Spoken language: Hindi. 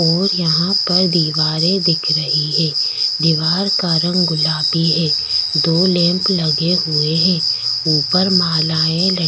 और यहाँ पर दीवारे दिख रही है दिवारो का रंग गुलाबी है दो लैम्प लगे हुए है ऊपर मालाए लटकी --